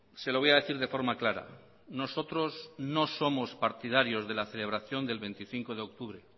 se lo voy a decir de forma clara nosotros no somos partidarios de la celebración del veinticinco de octubre